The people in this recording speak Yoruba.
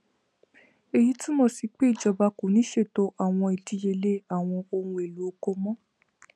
eyi tumọ si pe ijọba ko ni ṣeto awọn idiyele awọn ohun elo oko mọ